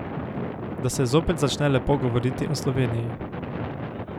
Da se zopet začne lepo govoriti o Sloveniji.